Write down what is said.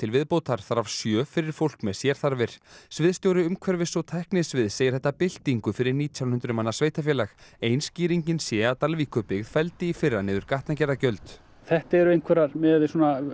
viðbótar þar af sjö fyrir fólk með sérþarfir sviðsstjóri umhverfis og tæknisviðs segir þetta byltingu fyrir nítján hundruð manna sveitarfélag ein skýringin sé að Dalvíkurbyggð felldi í fyrra niður gatnagerðargjöld þetta eru einhverjar miðað við